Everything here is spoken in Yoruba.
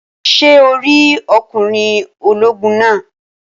Ṣé o rí ọkùnrin ológun naa?